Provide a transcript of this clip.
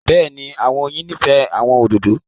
Bẹ́ẹ̀ni, àwọn oyin nifẹ àwọn ódódò.